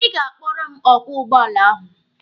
Ị ga-akpọrọ m ọkwọ ụgbọala ahụ.